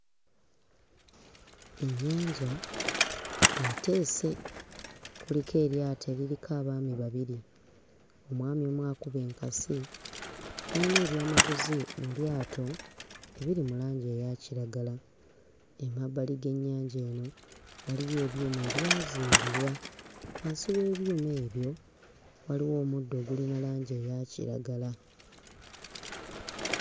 Ennyanja eteese, kuliko eryato eririko abaami babiri, omwami omu akuba enkasi, bayina ebyamaguzi mu lyato ebiri mu langi eya kiragala. Emabbali g'ennyanja eno waliyo ebyuma ebyazimbibwa, wansi w'ebyuma ebyo waliwo omuddo ogulina langi eya kiragala.